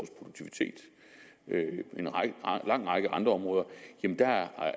en lang række andre områder